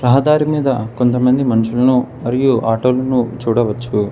రహదారి మీద కొంతమంది మనుషులను మరియు ఆటో లను చూడవచ్చు.